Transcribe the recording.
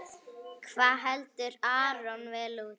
Hvað heldur Aron vel út?